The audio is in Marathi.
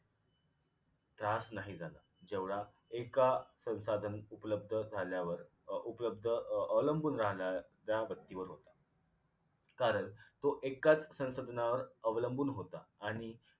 त्रास नाही झाला जेवढा एका संसाधन उपलब्ध झाल्यावर उपलब्ध अं अवलंबून राह्ल्यावर ज्या व्यक्तीवर होता कारण तो एकाच संसाधनांवर अवलंबून होता आणि